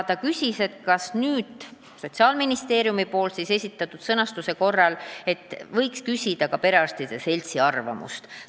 Ta küsis, kas Sotsiaalministeeriumi esitatud sõnastuse kohta võiks küsida ka perearstide seltsi arvamust.